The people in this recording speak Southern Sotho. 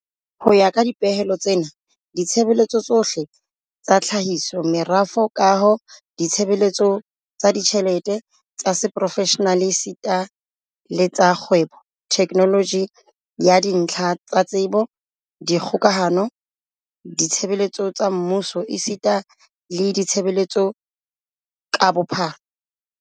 Ho ya ka dipehelo tsena, ditshebeletso tsohle tsa tlhahiso, merafo, kaho, ditshebeletso tsa ditjhelete, tsa seprofeshenale esita le tsa kgwebo, theknoloji ya dintlha tsa tsebo, dikgokahano, ditshebeletso tsa mmuso esita le ditshebeletso tsa bophatlala